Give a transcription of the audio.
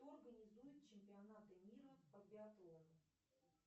кто организует чемпионаты мира по биатлону